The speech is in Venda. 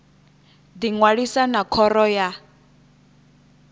ḓi ṅwalisa na khoro ya